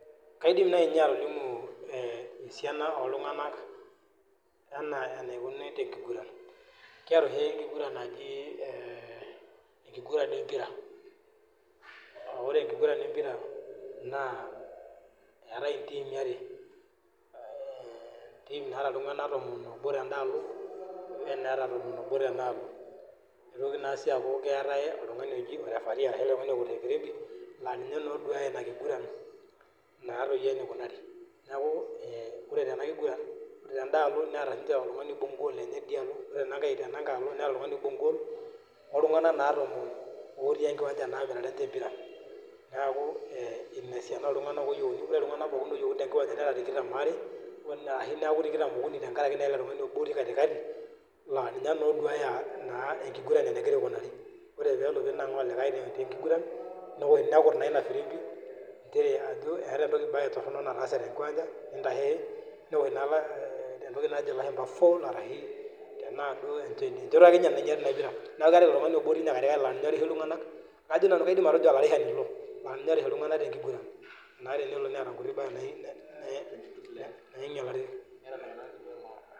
Kaidim naaji ainyio atolimu esiaina oo iltung`anak enaa enaikununo te nkiguran. Kiata oshi enkiguran naji ee enkiguran e mpira. Aaa ore enkiguran e mpiran naa eetae intiimi are, ee entiim naata iltung`anak tomon oobo ten`dalo o ntiim naata tomon oobo tenealo. Neitoki sii aaku keetae oltung`ani oji o referee ashu oltung`ani okut e virimbi laa ninye oduaya ina kiguran naadoi enikunari. Niaku ee ore tena kiguran ore ten`daalo neeta sii ninche oltung`ani oibung goal teidia alo ore tenankae alo neeta oltung`ani oibung goal o oltung`anak naa tomon otii enkiwancha naa aipirare ninche empira. Niaku ee ina esiana oo iltung`anak ooyieuni. Ore iltung`anak pookin oyieuni te nkiwancha nera tikitam oare o ashu neaku tikitam okuni tenkaraki ele tung`ani otii katikati laa ninye naa oduaya nkiguran naa enegira aikunari. Ore pe elo ninang`aa olikae te nkiguran newosh nekuta naa ina virimbi nchere ajo eeta naa em`baye torrono nataase te nkiwancha nintasheshe. Newosh naa e entoki najo ilashumba foul arashu tenaa duo enchoto ake ninye nainyiari ina pira. Niaku keeta ilo tung`ani obo otii katikati laa ninye orishu iltung`anak, kajo nanu atejo olarishani ilo laa ninye orish iltung`anak te nkiguran naa tenelo neeta nkuti baa naa nainyialari.